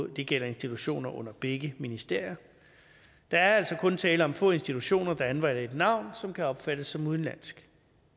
det gælder institutioner under begge ministerier der er altså kun tale om få institutioner der anvender et navn som kan opfattes som udenlandsk